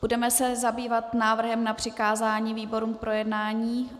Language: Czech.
Budeme se zabývat návrhem na přikázání výborům k projednání.